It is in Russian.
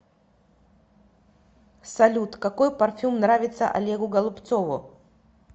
салют какой парфюм нравится олегу голубцову